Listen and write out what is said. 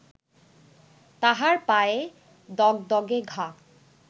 তাহার পায়ে দগদগে ঘা